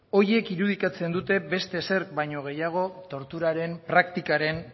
horiek irudikatzen dute beste ezerk baino gehiago torturaren praktikaren